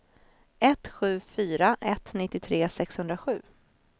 ett sju fyra ett nittiotre sexhundrasju